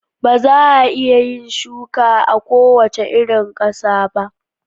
Ba za a iya yin shuka a kowace irin ƙasa ba.